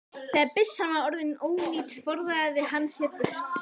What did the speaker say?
Þegar byssan var orðin ónýt forðaði hann sér burt.